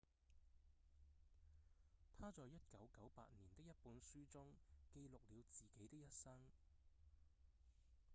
他在1998年的一本書中記錄了自己的一生